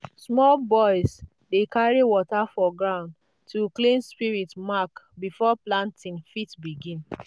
small boys dey carry water for gourd to clean spirit mark before planting fit begin.